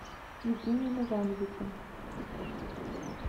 евгением ивановичем